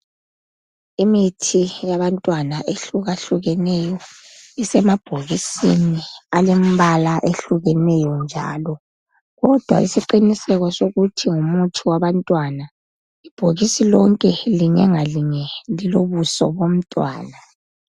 Imithi yabantwana ehlukahlukeneyo isemabhokisini alombala ohlukeneyo njalo .Kodwa isiqiniseko sokuthi ngumuthi wabantwana, ibhokisi linye ngalinye lilobuso bomntwana.